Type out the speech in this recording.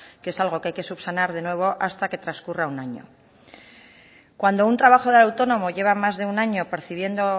que es algo que hay que subsanar de nuevo hasta que transcurra un año cuando un trabajador de autónomo lleva más de un año percibiendo